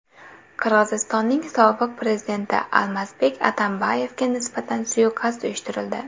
Qirg‘izistonning sobiq prezidenti Almazbek Atambayevga nisbatan suiqasd uyushtirildi.